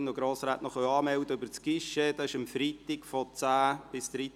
Der Grosse Rat beschliesst: